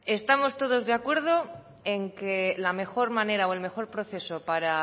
bueno vamos a ver estamos todos de acuerdo en que la mejor manera o el mejor proceso para